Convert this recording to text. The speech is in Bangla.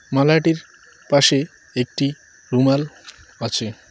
মালাটির পাশে একটি রুমাল আছে।